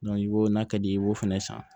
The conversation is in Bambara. i b'o n'a ka d'i ye i b'o fana san